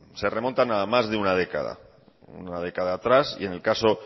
se remontan a más de una década una década atrás y en el caso